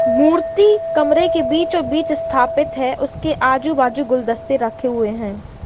मूर्ति कमरे के बीचो-बीच स्थापित है। उसके आजू-बाजू गुलदस्ते रखे हुए हैं।